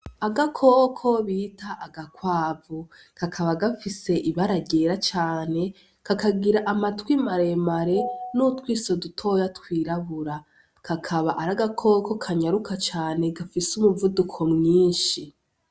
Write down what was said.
Agakoko bita agakwavu, kakaba gafise ibara ryera cane kakagira amatwi maremare n'utwiso dutoya twirabura, kakaba ari agakoko kanyaruka cane gafise umuvuduko mwinshi.